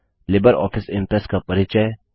Libre office Impress का परिचय